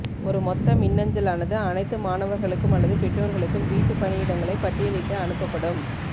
ஒரு மொத்த மின்னஞ்சலானது அனைத்து மாணவர்களுக்கும் அல்லது பெற்றோர்களுக்கும் வீட்டுப் பணியிடங்களை பட்டியலிட்டு அனுப்பப்படும்